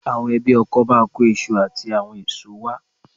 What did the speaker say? Àwọn ẹbí ọkọ máa kó iṣu àti àwọn èso wá